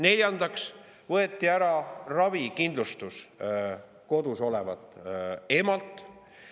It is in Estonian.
Neljandaks võeti ära ravikindlustus kodus olevat emalt.